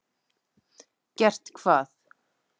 Gert hvað?